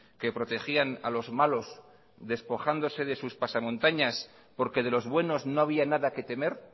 que protegían a los malos despojándose de sus pasamontañas porque de los buenos no había nada que temer